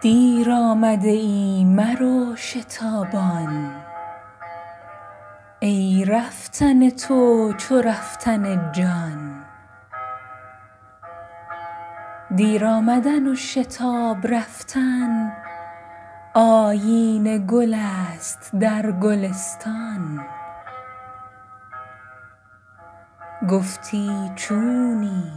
دیر آمده ای مرو شتابان ای رفتن تو چو رفتن جان دیر آمدن و شتاب رفتن آیین گل است در گلستان گفتی چونی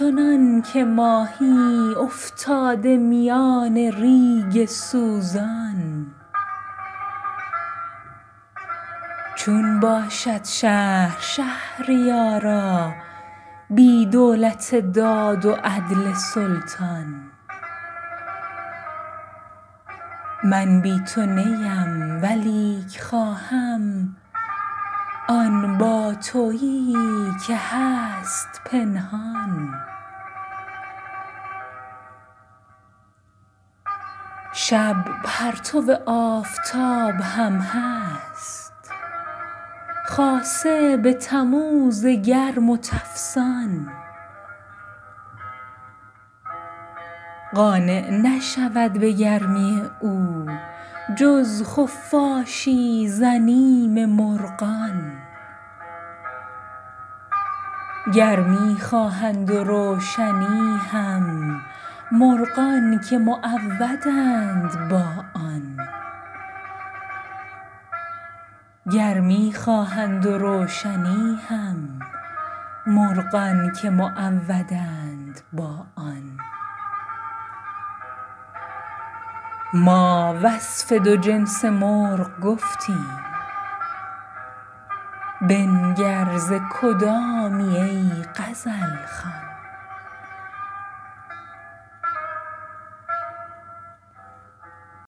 چنانک ماهی افتاده میان ریگ سوزان چون باشد شهر شهریارا بی دولت داد و عدل سلطان من بی تو نیم ولیک خواهم آن باتویی که هست پنهان شب پرتو آفتاب هم هست خاصه به تموز گرم و تفسان قانع نشود به گرمی او جز خفاشی ز بیم مرغان گرمی خواهند و روشنی هم مرغان که معودند با آن ما وصف دو جنس مرغ گفتیم بنگر ز کدامی ای غزل خوان